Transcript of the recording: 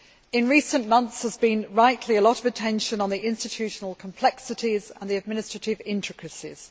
In recent months, there has been, rightly, a lot of attention on the institutional complexities and the administrative intricacies.